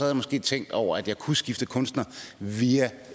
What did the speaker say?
jeg måske tænkt over at jeg kunne skifte kunstner via